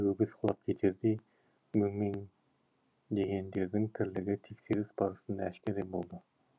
өңешіне өгіз құлап кетердей өңмеңдегендердің тірлігі тексеріс барысында әшкере болды